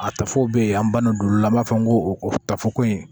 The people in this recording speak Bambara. A tafo bɛ yen an ban na olu la an b'a fɔ n ko o ta fɔ ko in